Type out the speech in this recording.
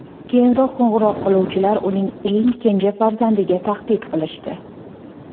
Keyinroq qo‘ng‘iroq qiluvchilar uning eng kenja farzandiga tahdid qilishdi .